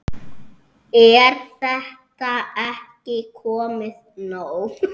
Er þetta ekki komið nóg?